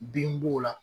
Bin b'o la